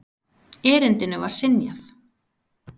Erindinu var synjað.